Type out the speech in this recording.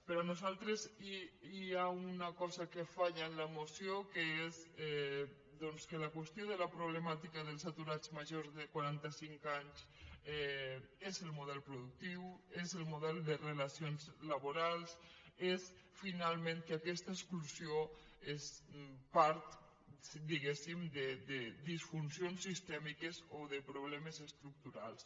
per nosaltres hi ha una cosa que falla en la moció que és doncs que la qüestió de la problemàtica dels aturats majors de quaranta cinc anys és el model productiu és el model de relacions laborals és finalment que aquesta exclusió és part diguem ne de disfuncions sistèmiques o de problemes estructurals